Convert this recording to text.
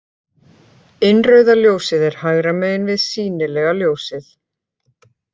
Innrauða ljósið er hægra megin við sýnilega ljósið.